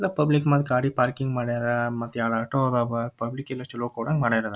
ಎಲ್ಲಾ ಪಬ್ಲಿಕ್ ಮಂದಿ ಗಾಡಿ ಪಾರ್ಕಿಂಗ್ ಮಾಡರ್ ಮತ್ತ್ ಎರಡ್ ಆಟೋ ಅದವ್ ಪಬ್ಲಿಕ್ ಇನ್ನ ಚಲೋ ಕೊಡಂಗ್ ಮಾಡರ್.